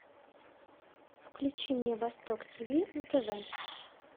включи мне восток тв на тв